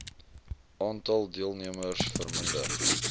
aantal deelnemers verminder